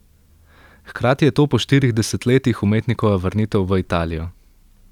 Hkrati je to po štirih desetletjih umetnikova vrnitev v Italijo.